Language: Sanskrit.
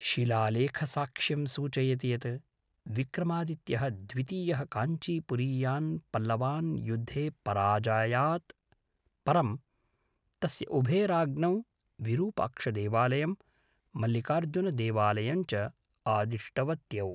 शिलालेखसाक्ष्यं सूचयति यत् विक्रमादित्यः द्वितीयः काञ्चीपुरीयान् पल्लवान् युद्धे पराजयात् परं, तस्य उभे राज्ञौ विरूपाक्षदेवालयं, मल्लिकार्जुनदेवालयं च आदिष्टवत्यौ।